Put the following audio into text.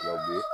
Tubabu